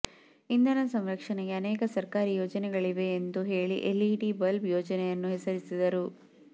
ಇಂಧನ ಸಂರಕ್ಷಣೆಗೆ ಅನೇಕ ಸರ್ಕಾರಿ ಯೋಜನೆಗಳಿವೆ ಎಂದು ಹೇಳಿ ಎಲ್ಇಡಿ ಬಲ್ಬ್ ಯೋಜನೆಯನ್ನು ಹೆಸರಿಸಿದರು